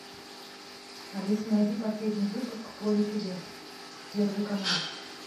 алиса найди последний выпуск поле чудес первый канал